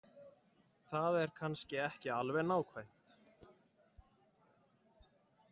Það er kannski ekki alveg nákvæmt.